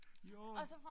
Jo